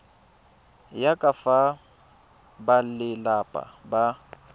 ya ka fa balelapa ba